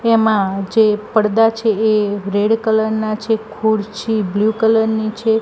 એમાં જે પરદા છે એ રેડ કલર ના છે ખુરચી બ્લુ કલર ની છે.